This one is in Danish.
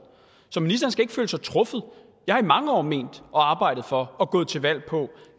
så ministeren skal ikke føle sig truffet jeg har i mange år ment og arbejdet for og gået til valg på